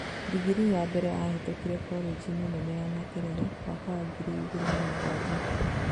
Ndingiri ya mbere ahetokire kolenji nene ya Makerere mwaka wa ngiri igĩrĩ na mũgwanja